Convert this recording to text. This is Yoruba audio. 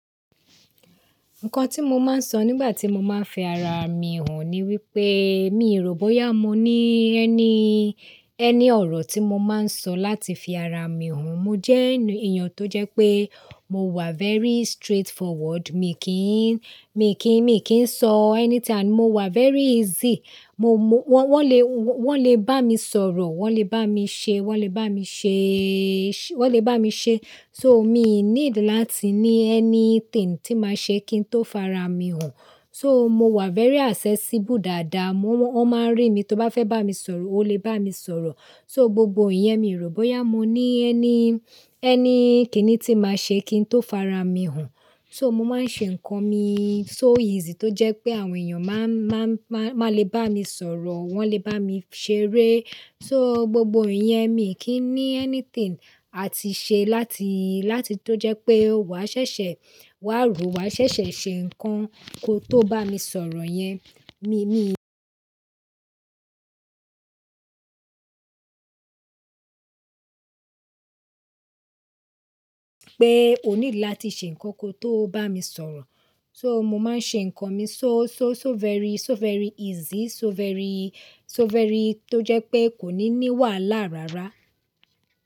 Nǹkan tí mo máa ń sọ nígbà tí mo máa ń fi ara mi hàn ni wípé mi ò rò bóyá mo ní any, any ọ̀rọ̀ tí mo máa ń sọ láti fi ara mi hàn. Mo jẹ́ ènìyàn tó jẹ́ pé mo wà very straightforward. Mi kí ń, mi kí ń, mi kí ń sọ anything and mo wà very easy. Mo, wọ́n le, wọ́n le bá mi sọ̀rọ̀, wọ́n le bá mi ṣe, wọ́n le bá mi ṣe, wọ́n le bá mi ṣe. So mi need láti ní anything tí máa ṣe kí n tó fara mi hàn. So mo wà very accessible dáadáa. Wọ́n máa ń rí mi, tó bá fẹ́ bá mi sọ̀rọ̀, o le bá mi sọ̀rọ̀. So gbogbo iyẹn mi rò bóyá mo ní ẹni, ẹni kìnní tí máa ṣe kí n tó fara mi hàn. So mo máa ń ṣe ǹkan mi so easy tó jẹ́ pé àwọn èèyàn máa, máa, máa le bá mi sọ̀rọ̀, wọ́n le bá mi ṣeré. So gbogbo iyẹn mi kì í ní anything àti ṣe láti, láti tó jẹ́ pé wàá ṣẹ̀ṣẹ̀, wà á rò, wà á ṣẹ̀ṣẹ̀ ṣe ǹkan ko tó bá mi sọ̀rọ̀ yẹn. Mi, mi pé o need láti ṣe ǹkan ko tó bá mi sọ̀rọ̀. So mo máa ń ṣe ǹkan mi so, so, so very, so very easy, so very, so very tó jẹ́ pé kò ní ní wàhálà rárá.